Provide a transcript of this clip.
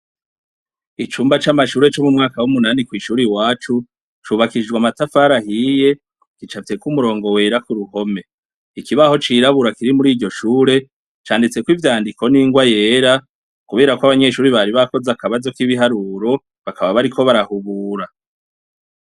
Icumba c’amashure co mu mwaka w’umunani ku ishure iwacu cubakishijwe amatafari ahiye, gicafyeko umurongo wera ku ruhome. Ikibaho cirabura kiri muri iryo shure canditseko ivyandiko n’ingwa yera, kubera ko abanyeshure bari bakoze akabazo k’ibiharuro bakaba bariko barahubura.